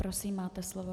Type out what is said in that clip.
Prosím, máte slovo.